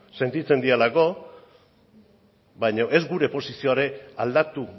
sentitzen direlako baino ez gure posizioa ere aldatu